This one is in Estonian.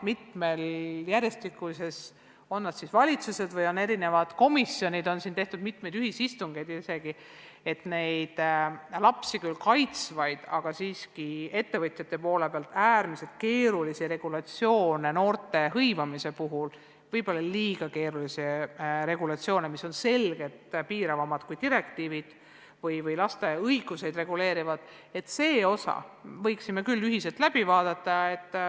Mitmes järjestikuses valitsuses ja erinevates komisjonides on siin tehtud isegi ühisistungeid, et neid lapsi kaitsvaid, aga ettevõtjate jaoks äärmiselt keerulisi regulatsioone – noorte hõivamise puhul võib-olla liiga keerulisi regulatsioone, mis on selgelt piiravamad kui direktiivid – ühiselt läbi vaadata.